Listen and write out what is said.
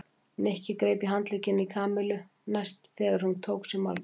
Nikki greip í handlegginn í Kamillu næst þegar hún tók sér málhvíld.